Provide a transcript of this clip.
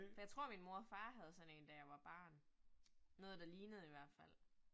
For jeg tror min mor og far havde sådan én da jeg var barn. Noget der lignede i hvert fald